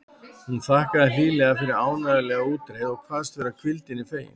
Hún þakkaði hlýlega fyrir ánægjulega útreið og kvaðst vera hvíldinni fegin.